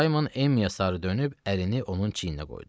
Saymon Emmiyə sarı dönüb, əlini onun çiyninə qoydu.